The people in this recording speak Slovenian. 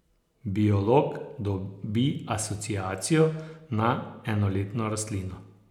Biolog dobi asociacijo na enoletno rastlino.